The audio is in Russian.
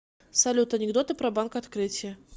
салют анекдоты про банк открытие